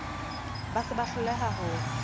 ba se ba hloleha ho